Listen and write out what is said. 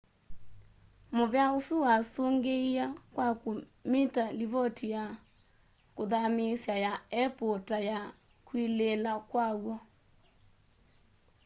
muvea usu wasungiie kwa kumita livoti ya kuthamiisya ya apple ta ya kwilila kwaw'o